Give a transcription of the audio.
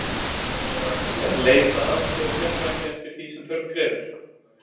Skal leita aðstoðar sérfræðinga eftir því sem þörf krefur.